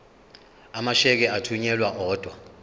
amasheke athunyelwa odwa